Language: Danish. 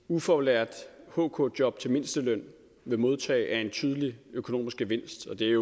ufaglært hk job til mindsteløn vil modtage er en tydelig økonomisk gevinst og det